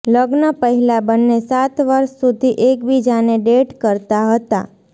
લગ્ન પહેલા બંને સાત વર્ષ સુધી એકબીજાને ડેટ કરતા હતા